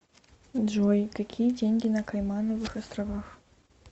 джой какие деньги на каймановых островах